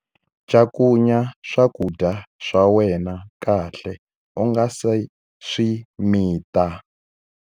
Cakunya swakudya swa wena kahle u nga si swi mita.